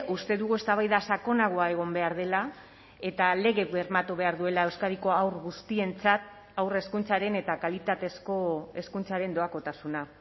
uste dugu eztabaida sakonagoa egon behar dela eta lege bermatu behar duela euskadiko haur guztientzat haur hezkuntzaren eta kalitatezko hezkuntzaren doakotasuna